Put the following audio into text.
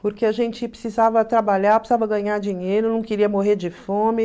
Porque a gente precisava trabalhar, precisava ganhar dinheiro, não queria morrer de fome.